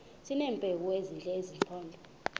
sineempawu ezithile zesimpondo